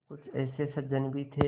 कुछ ऐसे सज्जन भी थे